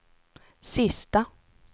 sista